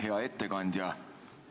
Hea ettekandja!